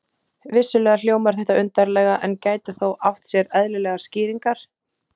Vissulega hljómar þetta undarlega, en gæti þó átt sér eðlilegar skýringar.